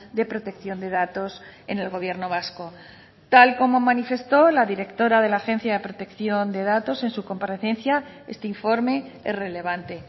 de protección de datos en el gobierno vasco tal como manifestó la directora de la agencia de protección de datos en su comparecencia este informe es relevante